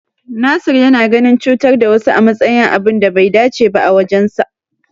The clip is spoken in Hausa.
Nasir yana ganin cutar da wasu a matsayin abun da bai dace ba a wajensa.